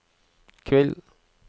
kveld